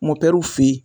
Mɔw fe yen